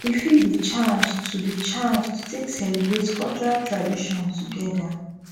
e fit bi chance to bi chance to take celibrate cultural tradition togeda